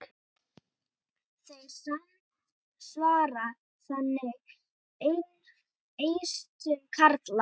Þeir samsvara þannig eistum karla.